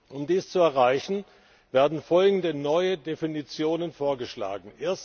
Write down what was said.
Um dies zu erreichen, werden folgende neue Definitionen vorgeschlagen.